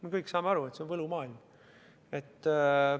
Me kõik saame aru, et see on võlumaailm.